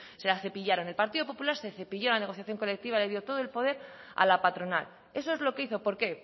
se la cepillaron el partido popular se cepilló la negociación colectiva le dio todo el poder a la patronal eso es lo que hizo por qué